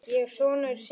Hvað er það mikið?